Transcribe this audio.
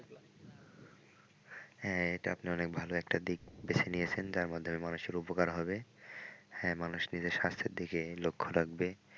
হ্যাঁ এটা আপনি অনেক ভাল একটা দিক বেছে নিয়েছেন যার মাধ্যমে মানুষের উপকার হবে হ্যাঁ মানুষ নিজের স্বাস্থ্যের দিকে লক্ষ্য রাখবে। ।